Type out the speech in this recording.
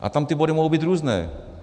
A tam ty body mohou být různé.